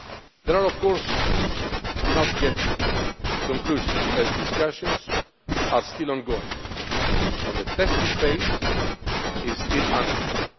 These are, of course, not yet conclusive, as discussions are still ongoing and the testing phase is still under